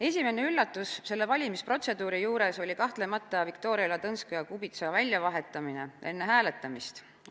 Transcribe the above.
Esimene üllatus selle valimisprotseduuri juures oli kahtlemata Viktoria Ladõnskaja-Kubitsa väljavahetamine enne hääletamist.